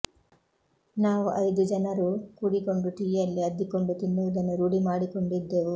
ನಾವು ಐದು ಜನರೂ ಕೂಡಿಕೊಂಡು ಟೀಯಲ್ಲಿ ಅದ್ದಿಕೊಂಡು ತಿನ್ನುವುದನ್ನು ರೂಢಿ ಮಾಡಿಕೊಂಡಿದ್ದೆವು